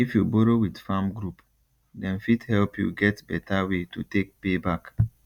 if you borrow with farm group dem fit help you get better way to take pay back